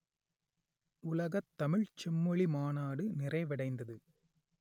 உலகத் தமிழ்ச் செம்மொழி மாநாடு நிறைவடைந்தது